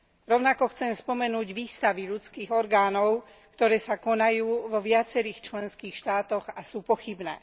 Rovnako chcem spomenúť výstavy ľudských orgánov, ktoré sa konajú vo viacerých členských štátoch a sú pochybné.